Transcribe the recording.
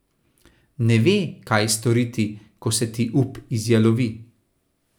Ne ve, kaj storiti, ko se ti up izjalovi.